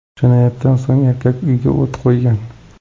Jinoyatdan so‘ng erkak uyga o‘t qo‘ygan.